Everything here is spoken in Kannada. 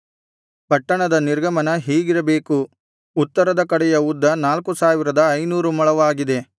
ಪಟ್ಟಣದ ನಿರ್ಗಮನ ಹೀಗಿರಬೇಕು ಉತ್ತರದ ಕಡೆಯ ಉದ್ದ ನಾಲ್ಕು ಸಾವಿರದ ಐನೂರು ಮೊಳವಾಗಿದೆ